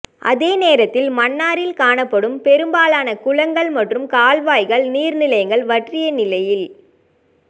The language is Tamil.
அதே நேரத்தில் மன்னாரில் காணாப்படும் பெரும்பாலான குளங்கள் மற்றும் கால் வாய்கள் நீர் நிலைகள் வற்றிய நிலையில்